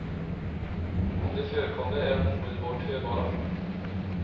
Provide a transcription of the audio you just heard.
Om de förekommer är de omedelbart hörbara.